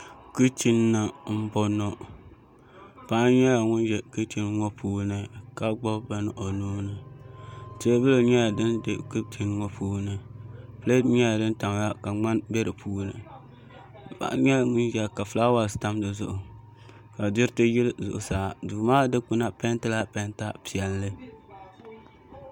Kichin ni n boŋo paɣa nyɛla ŋun ʒɛ kichin ŋo puuni ka gbubi bini o nuuni teebuli nyɛla din bɛ kichin ŋo puuni pileet nyɛla din tamya ka ŋmani bɛ di puuni paɣa nyɛla ŋun tabiya ka fulaawaasi tam di zuɣu ka diriti yili zuɣusaaa duu maa dikpuna peentila peenta piɛlli